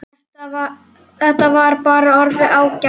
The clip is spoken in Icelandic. Þetta var bara orðið ágætt.